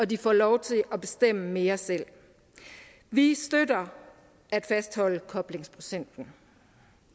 de får lov til at bestemme mere selv vi støtter at fastholde koblingsprocenten